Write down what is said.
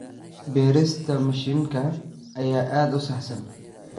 Beerista mishiinka ayaa aad u saxsan.